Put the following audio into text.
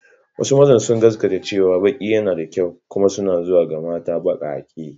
Wasu mazan sun gaskata cewa baki yana da kyau kuma suna zuwa ga mata bakake.